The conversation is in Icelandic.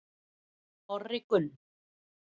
Orri Gunn